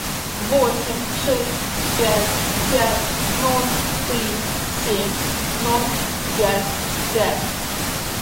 восемь шесть пять пять ноль три семь ноль пять пять